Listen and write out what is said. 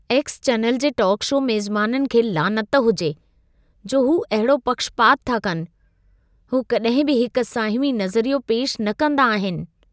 X channel जे talk show मेज़बाननि खे लानत हुजे, जो हू अहिड़ो पक्षपातु था कनि। हू कॾहिं बि हिक साहिमी नज़रियो पेशि न कंदा आहिनि।